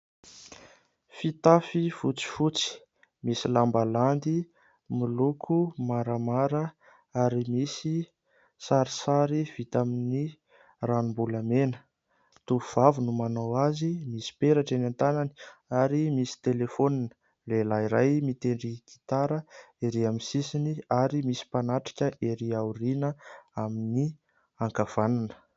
Fitafy fotsifotsy misy lambalandy miloko maramara ary misy sarisary vita amin'ny ranom-bolamena. Tovovavy no manao azy, misy peratra eny an-tanany ary misy "téléphone". Lehilahy iray mitendry gitara ery amin'ny sisiny ary misy mpanatrika ery aoriana amin'ny ankavanana.